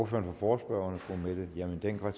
for forespørgerne fru mette hjermind dencker